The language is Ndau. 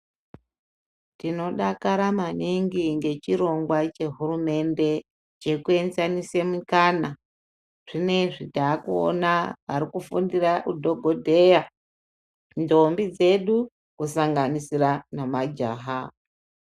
Tinodakara maningi ngechirongwa chehurumende chekuenzanise mikana. Zvinoizvi takuona arikufundira udhogodheya ndombi dzedu kusanganisira nemajaha.